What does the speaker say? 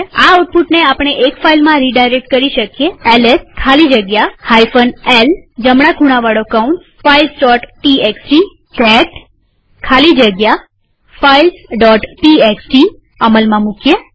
આ આઉટપુટને આપણે એક ફાઈલમાં રીડાયરેક્ટ કરી શકીએls ખાલી જગ્યા l જમણા ખૂણાવાળો કૌંસ filesટીએક્સટી કેટ ખાલી જગ્યા filesટીએક્સટી અમલમાં મુકીએ